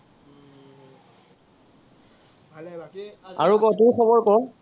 আৰু ক তোৰ খবৰ ক?